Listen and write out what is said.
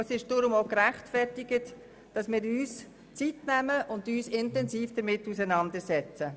Deshalb ist es gerechtfertigt, sich Zeit zu nehmen und sich intensiv damit auseinanderzusetzen.